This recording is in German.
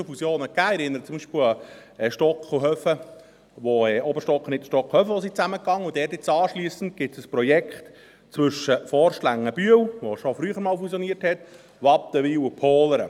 Ich erinnere beispielsweise an Stocken und Höfen, wo Oberstock, Niederstock und Höfen zusammengingen und es dort nun anschliessend ein Projekt gibt zwischen Forst-Längenbühl, das schon früher fusioniert hat, Wattenwil und Pohlern.